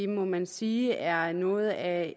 må man sige er noget af